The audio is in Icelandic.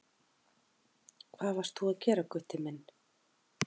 Hvað varst þú að gera Gutti minn?